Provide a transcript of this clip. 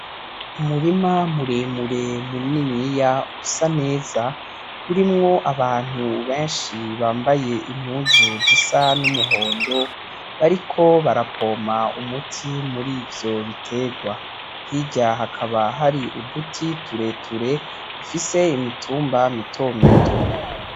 Umurima muremure muniniya usa neza urimwo abantu benshi bambaye impuzu zisa n'umuhondo bariko barapompa umuti murivyo biterwa, hirya hakaba hari uduti tureture dufise imitumba mito mito.